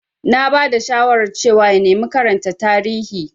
Na ba da shawarar cewa ya nemi karanta Tarihi.